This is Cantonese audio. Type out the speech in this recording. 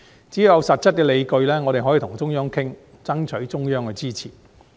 只要有實質的理據，我們可以與中央商討，爭取中央的支持。